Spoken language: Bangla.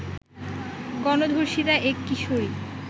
গণধর্ষিতা এক কিশোরী